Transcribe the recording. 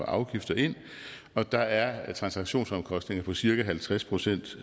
afgifter og der er transaktionsomkostninger på cirka halvtreds procent